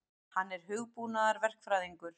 Hann er hugbúnaðarverkfræðingur.